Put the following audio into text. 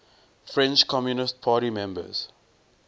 french communist party members